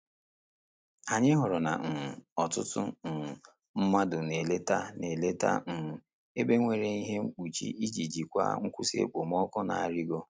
Anyị hụrụ na um ọtụtụ um mmadụ na-eleta na-eleta um ebe nwere ihe na-ekpuchi iji jikwaa nkwụsị okpomọkụ na-arịgo.